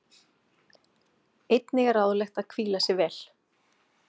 einnig er ráðlegt að hvíla sig vel